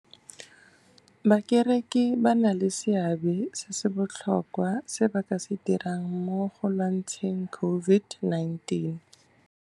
Bakereki ba na le seabe se se botlhokwa se ba ka se dirang mo go lwantsheng COVID-19